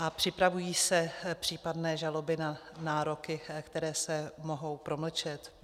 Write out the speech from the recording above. A připravují se případné žaloby na nároky, které se mohou promlčet?